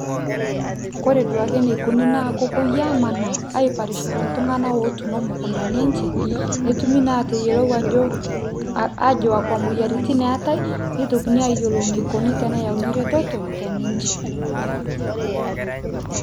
Kore duoke nikoni naa kopoi amanaa, aiparishare ltung'anak otuuno mukundani enche, netumi naa ateyielou ajo, aajo akwa moyiaritin eetae, nitokini ayiolou nikoni teneyauni reteto, teninche.